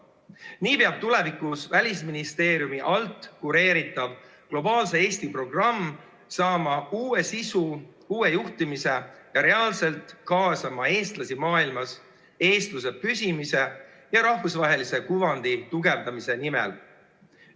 Nii peab tulevikus Välisministeeriumi alt kureeritav globaalse Eesti programm saama uue sisu, uue juhtimise ja reaalselt kaasama eestlasi maailmas eestluse püsimise ja Eesti rahvusvahelise kuvandi tugevdamise nimel.